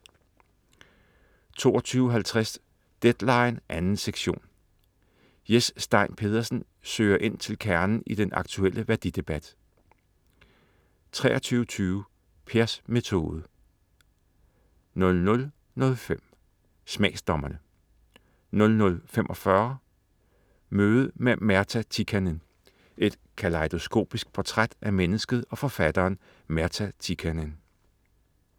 22.50 Deadline 2. sektion. Jes Stein Pedersen søger ind til kernen i den aktuelle værdidebat 23.20 Pers metode* 00.05 Smagsdommerne* 00.45 Møde med Märta Tikkanen. Et kalejdoskopisk portræt af mennesket og forfatteren Märta Tikkanen